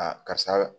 karisa